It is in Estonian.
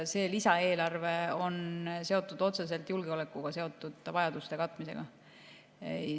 See lisaeelarve on seotud otseselt julgeolekuga seotud vajaduste katmisega.